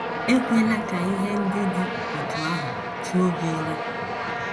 Ekwela ka ihe ndị dị otú ahụ chuo gị ụra.